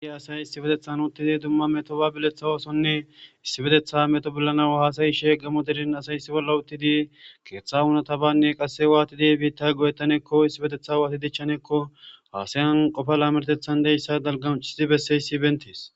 ay asay issi betethan uttidi dumma meto ba biletha oosonne issi betetha meto bollanaw haasayi she gamo derin asay issi bolla uttidi keeththa hunata banne qasse waatidi biitta goyettanekko issi betetha waatidichchaneekko haasayan qofa laamertethan deyssa dalgamuccidi besseyssi bentees